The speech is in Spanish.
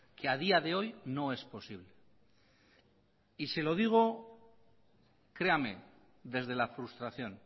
que a día de hoy no es posible y se lo digo créame desde la frustración